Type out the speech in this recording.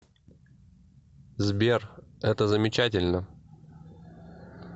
сбер это замечательно